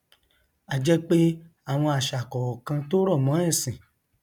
a jẹ pé àwọn àṣà kọọkan tó rọ mọn ẹsìn